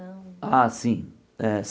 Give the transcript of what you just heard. Ah, sim. Eh